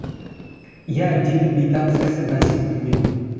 иә деді бейтаныс кісі бәсең үнмен